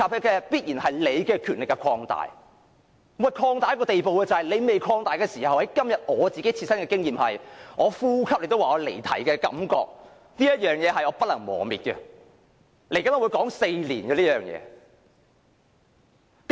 即使你的權力尚未擴大，但今天我的切身經驗是，我連呼吸也被你指為離題，這種感覺是不能磨滅的，這件事我會說足4年。